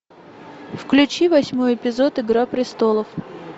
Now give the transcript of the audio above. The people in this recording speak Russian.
включи восьмой эпизод игра престолов